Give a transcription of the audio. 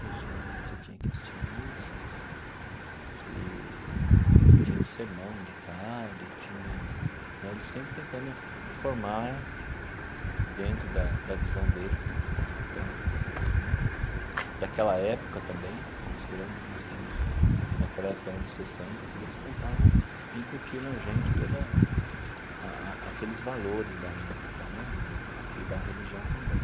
Todo domingo você tinha que assistir à missa, eee tinha o sermão do padre, tinha né eles sempre tentando fo formar dentro da da visão deles né, da visão católica, da né daquela época também, considerando que nós estamos naquela época eram os anos sessenta tudo, eles tentavam incutir na gente toda a a aqueles valores da época né na e da religião também.